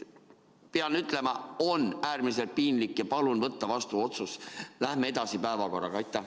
Pean ütlema, et see on äärmiselt piinlik, ja palun võtta vastu otsus, et läheme päevakorraga edasi.